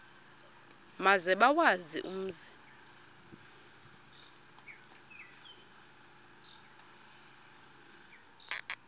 maze bawazi umzi